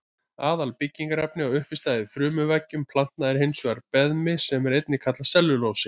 Aðalbyggingarefni og uppistaða í frumuveggjum planta er hins vegar beðmi sem einnig kallast sellulósi.